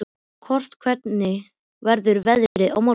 Kort, hvernig verður veðrið á morgun?